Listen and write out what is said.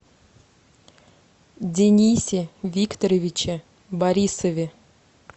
динисе викторовиче борисове